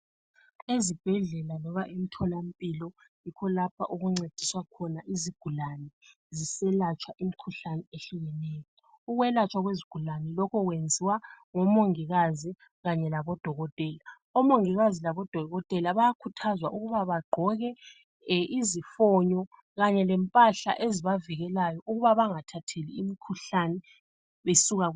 Ezibhedlela loba emtholampilo, yikho lapho okuncediswa khona izigulani ziselatshwa imkhuhlane ehlukeneyo. Ukwelatshwa kwezigulani lokhu kwenziwa ngomongikazi kanye labodokotela. Omongikazi labodokotela bayakhuthazwa ukuba bagqoke izifonyo kanye lempahla ezibavikelayo ukuba bangathatheli imkhuhlane.